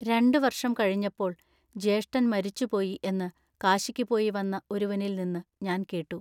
രണ്ടുവർഷം കഴിഞ്ഞപ്പോൾ, ജ്യേഷ്ഠൻ മരിച്ചുപോയി എന്നു കാശിക്കുപോയി വന്ന ഒരുവനിൽനിന്നു ഞാൻ കേട്ടു.